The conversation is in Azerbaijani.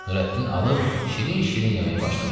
Nurəddin alıb şirin-şirin yeməyə başladı.